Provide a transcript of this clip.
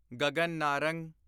Gagan Narang